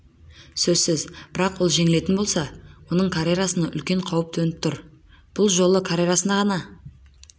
сөзсіз бірақ ол жеңілетін болса оның карьерасына үлкен қауіп төніп тұр бұл жолы карьерасы ғана